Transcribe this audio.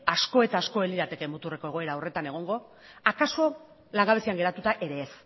asko eta asko ez lirateke muturreko egoera horretan egongo akaso langabezian geratuta ere ez